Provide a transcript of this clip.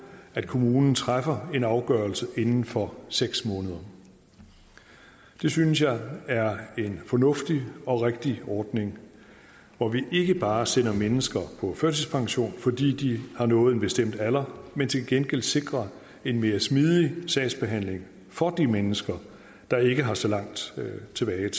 at kommunen træffer en afgørelse inden for seks måneder det synes jeg er en fornuftig og rigtig ordning hvor vi ikke bare sender mennesker på førtidspension fordi de har nået en bestemt alder men til gengæld sikrer en mere smidig sagsbehandling for de mennesker der ikke har så lang tid tilbage